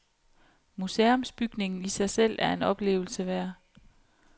Museumsbygningen i sig selv er en oplevelse værd.